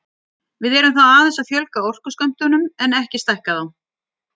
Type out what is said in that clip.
við erum þá aðeins að fjölga orkuskömmtunum en ekki að stækka þá